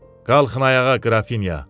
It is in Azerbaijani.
Qalxın ayağa, Qrafinya.